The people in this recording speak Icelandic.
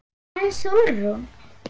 En Sólrún?